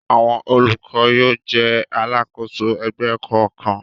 Àwọn olùkọ́ yóò jẹ́ alákòóso ẹgbẹ́ kọ̀ọ̀kan.